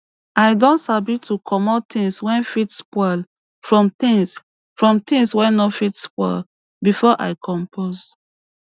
i don sabi to commot things wey fit spoil from tins from tins wey no fit spoil before i compost